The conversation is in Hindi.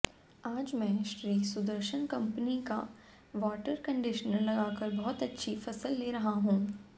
आज मै श्री सुदर्शन कंपनी का वाटर कंडिशनर लगाकर बहुत अच्छी फसल ले रहा हूं